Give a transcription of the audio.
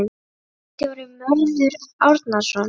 Ritstjóri Mörður Árnason.